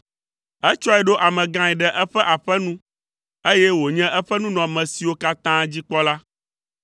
Etsɔe ɖo amegãe ɖe eƒe aƒe nu, eye wònye eƒe nunɔamesiwo katã dzikpɔla,